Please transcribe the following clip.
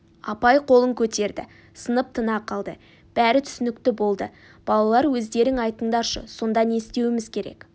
апай қолын көтерді сынып тына қалды бәрі түсінікті болды балалар өздерің айтындаршы сонда не істеуіміз керек